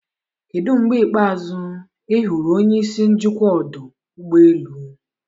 Kedu mgbe ikpeazụ ị hụrụ onye isi njikwa ọdụ ụgbọ elu?